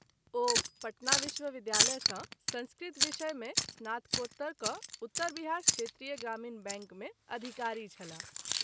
ओ पटना विश्वविद्यालय सँ संस्कृत विषय मे स्नात्कोत्तर क’ उत्तर बिहार क्षेत्रीय ग्रामीण बैंक मे अधिकारी छलाह।